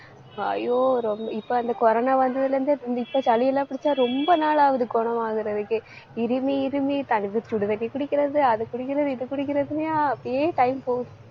ஐயோ ரொம்~ இப்ப அந்த corona வந்ததுல இருந்து இப்ப சளியெல்லாம் புடிச்சா ரொம்ப நாள் ஆகுது, குணம் ஆகுறதுக்கு இருமி இருமி தண்ணி சுடுதண்ணி குடிக்கிறது அதை குடிக்கிறது இதை குடிக்கிறதுன்னையும் அப்படியே time போகுது.